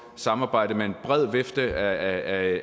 samarbejde med en bred vifte af